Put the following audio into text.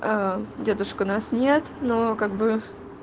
дедушку нас нет но как бы